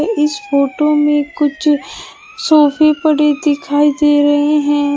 इस फोटो में कुछ सोफे पड़े दिखाई दे रहे हैं।